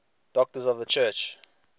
doctors of the church